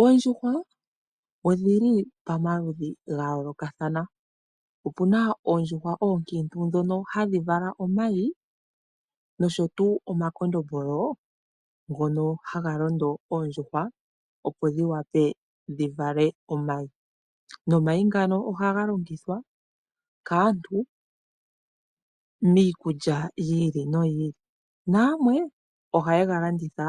Oondjuhwa odhili pomaludhi gayoolokathana . Opuna oondjuhwa oonkiintu ndhono hadhi vala omayi noshotuu omakondombolo ngono haga londo oondjuhwa, opo dhiwape dhivale omayi. Omayi ngano ohaga longithwa kaantu miikulya yili noyili. Nayamwe ohayega landitha